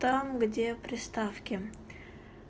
там где приставки